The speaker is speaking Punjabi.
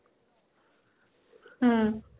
ਹੂ